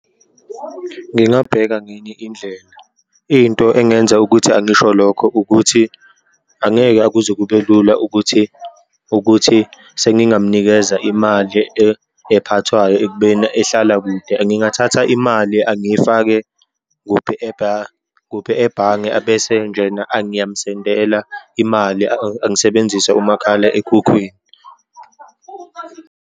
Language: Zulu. Ngingabheka ngenye indlela. Into engenza ukuthi angisho lokho ukuthi, angeke akuze kube lula ukuthi, ukuthi sengingamnikeza imali ephathwayo ekubeni ehlala kude, ngingathatha imali angiyifake kuphi kuphi ebhange abese njena angiyamsendela imali, angisebenzise umakhalekhukhwini.